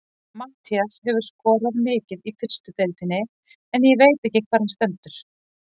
Matthías hefur skorað mikið í fyrstu deildinni en ég veit ekki hvar hann stendur.